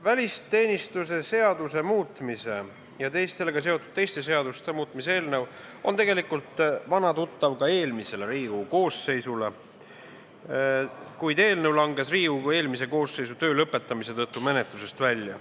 Välisteenistuse seaduse muutmise ja sellega seonduvalt teiste seaduste muutmise seaduse eelnõu oli tegelikult vana tuttav ka eelmisele Riigikogu koosseisule, kuid eelnõu langes Riigikogu eelmise koosseisu töö lõppemise tõttu menetlusest välja.